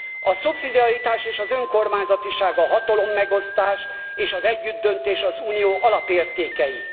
A szubszidiaritás és az önkormányzatiság, a hatalommegosztás és az együttdöntés az Unió alapértékei.